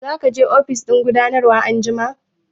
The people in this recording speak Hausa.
Za ka je ofishin gudanarwa anjima?